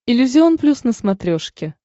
иллюзион плюс на смотрешке